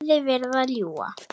Hleypir honum ekki framhjá sér.